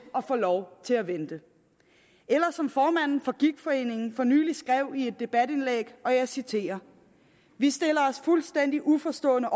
at få lov til at vente eller som formanden for gigtforeningen for nylig skrev i et debatindlæg og jeg citerer vi stiller os fuldstændig uforstående